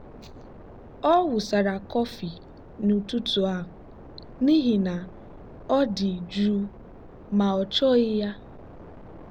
ọ wụsara kọfị n'ụtụtụ a n'ihi na ọ dị jụụ ma ọ chọghị ya.